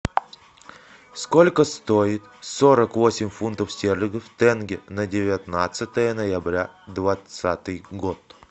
сколько стоит сорок восемь фунтов стерлингов в тенге на девятнадцатое ноября двадцатый год